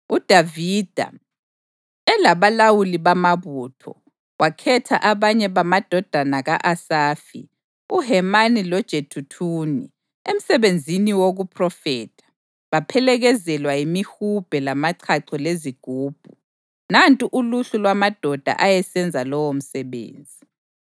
UDavida, elabalawuli bamabutho, wakhetha abanye bamadodana ka-Asafi, uHemani loJeduthuni emsebenzini wokuphrofetha, baphelekezelwa yimihubhe lamachacho lezigubhu. Nantu uluhlu lwamadoda ayesenza lowomsebenzi: